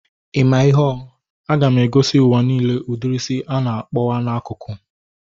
I maa ihe ọ? A ga m egosi ụwa nille udiri isi a na-akpowapu n'akụkụ